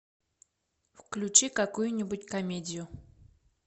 включи какую нибудь комедию